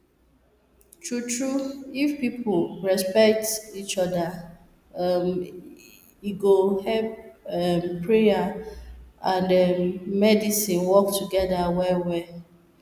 true true if people respect each oda um e go help prayer and errm medicine work togeda well well